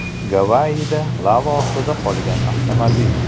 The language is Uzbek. Gavayida lava ostida qolgan avtomobil.